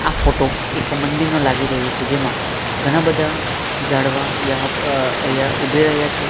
આ ફોટો એક મંદિરનો લાગી રહ્યો છે જેમાં ઘણા બધા ઝાડવા અહિયા ઊભી રહ્યા છે.